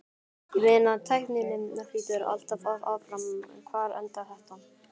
Ég meina tækninni flýtur alltaf áfram, hvar endar þetta?